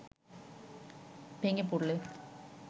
ভেঙে পড়লে